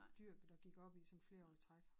Dyrket og gik op i sådan 4 år i træk